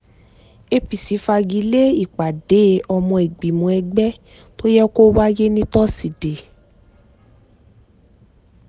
apc fagi lé ìpàdé ọmọ ìgbìmọ̀ ẹgbẹ́ tó yẹ kó wáyé ní tosidee